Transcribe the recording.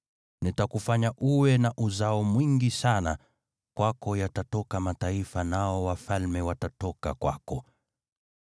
Nitakufanya uwe na uzao mwingi sana, kwako yatatoka mataifa nao wafalme watatoka kwako.